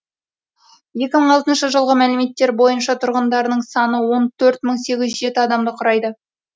екі мың алтыншы жылғы мәліметтер бойынша тұрғындарының саны он төрт мың сегіз жүз жеті адамды құрайды